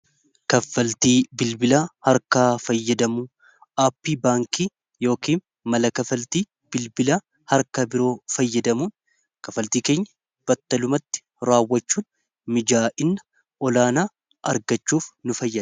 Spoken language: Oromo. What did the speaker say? kaffaltii bilbila harkaa fayyadamuun aappii baankii yookiin mala-kafaltii bilbila harkaa biroo fayyadamuun kafaltii keenya battalumatti raawwachuun mijaa'ina olaanaa argachuuf nu fayada